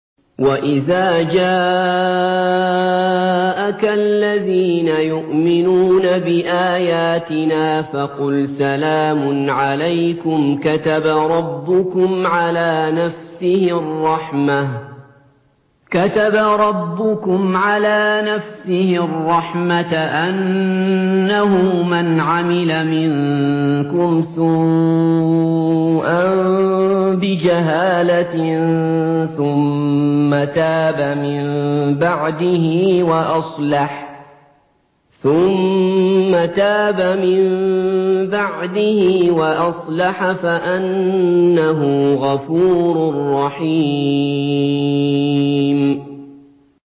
وَإِذَا جَاءَكَ الَّذِينَ يُؤْمِنُونَ بِآيَاتِنَا فَقُلْ سَلَامٌ عَلَيْكُمْ ۖ كَتَبَ رَبُّكُمْ عَلَىٰ نَفْسِهِ الرَّحْمَةَ ۖ أَنَّهُ مَنْ عَمِلَ مِنكُمْ سُوءًا بِجَهَالَةٍ ثُمَّ تَابَ مِن بَعْدِهِ وَأَصْلَحَ فَأَنَّهُ غَفُورٌ رَّحِيمٌ